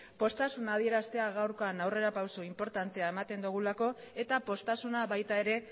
poztasuna adieraztea gaurkoan aurrera pausu inportantea ematen dugulako eta poztasuna baita ere